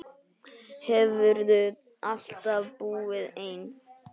Hefurðu alltaf búið einn?